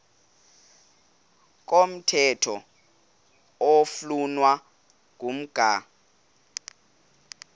komthetho oflunwa ngumgago